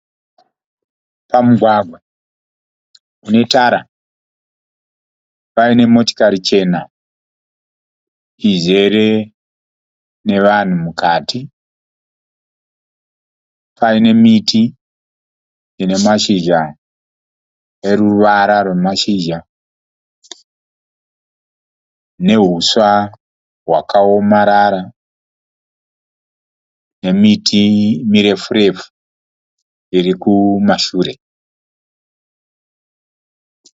Pamugwagwa une tara paine motikari chena izere nevanhu mukati. Paine miti ine mazhizha eruvara rwemazhizha nehuswa hwakaomarara nemiti mirefu-refu iri kumashure.